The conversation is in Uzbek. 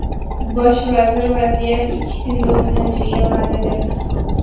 Bosh vazir vaziyat ikki kunda o‘nglanishiga va’da berdi.